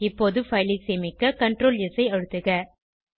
இப்போது fileஐ சேமிக்க Ctrls ஐ அழுத்துக